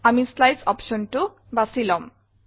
আমি শ্লাইডছ optionটো বাছি লম